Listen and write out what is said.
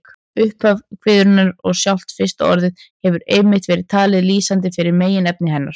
Upphaf kviðunnar og sjálft fyrsta orðið hefur einmitt verið talið lýsandi fyrir meginefni hennar.